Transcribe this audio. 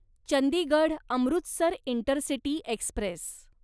Chandigarh Amritsar intercity Express